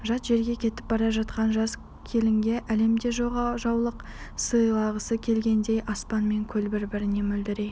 жат жерге кетіп бара жатқан жас келінге әлемде жоқ ақ жаулық сыйлағысы келгендей аспан мен көл бір-біріне мөлдірей